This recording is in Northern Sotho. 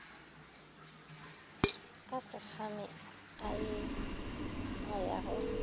ka sekgame a ya go